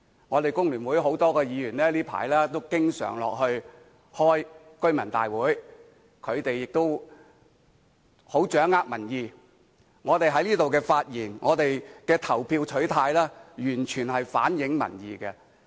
我們工聯會很多議員最近都經常落區開居民大會，掌握民意，我們在議會內的發言及投票取態，完全是反映民意的。